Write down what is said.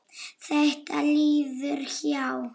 Þetta líður hjá.